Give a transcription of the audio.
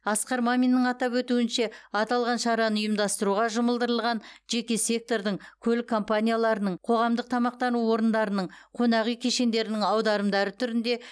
асқар маминнің атап өтуінше аталған шараны ұйымдастыруға жұмылдырылған жеке сектордың көлік компанияларының қоғамдық тамақтану орындарының қонақ үй кешендерінің аударымдары түрінде